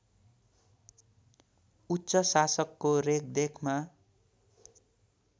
उच्च शासकको रेखदेखमा